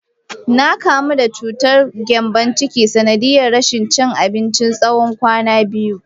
Na kamu da cutar gembon ciki, sanadiyar rashin cin abinci na tsawon kwana biyu.